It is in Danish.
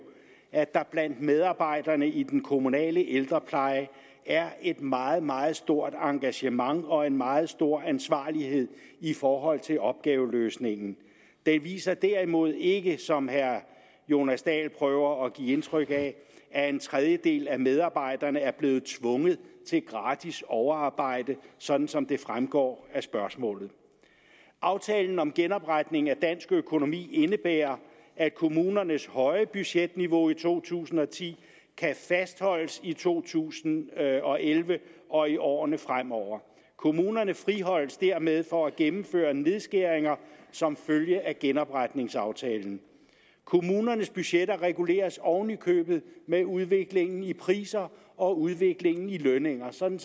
at der blandt medarbejderne i den kommunale ældrepleje er et meget meget stort engagement og en meget stor ansvarlighed i forhold til opgaveløsningen den viser derimod ikke som herre jonas dahl prøver at give indtryk af at en trejdedel af medarbejderne er blevet tvunget til gratis overarbejde sådan som det fremgår af spørgsmålet aftalen om genopretning af dansk økonomi indebærer at kommunernes høje budgetniveau i to tusind og ti kan fastholdes i to tusind og elleve og i årene fremover kommunerne friholdes dermed for at gennemføre nedskæringer som følge af genopretningsaftalen kommunernes budgetter reguleres oven i købet med udviklingen i priser og udviklingen i lønninger sådan